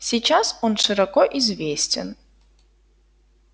сейчас он широко известен